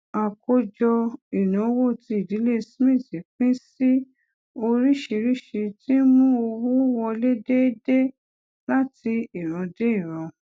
àkójọ ìnáwó tí ìdílé smith pín sí oríṣiríṣi ti ń mú owó wọlé déédéé láti ìran dé ìran